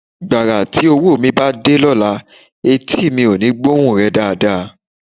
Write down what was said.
Gbàrà tí owó mi bá dé lọ́la, etí mi ò ní gbóhun rẹ dáadáa